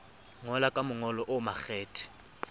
ngola ka mongolo o makgethe